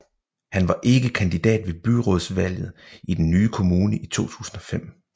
Han var ikke kandidat ved byrådsvalget i den nye kommune i 2005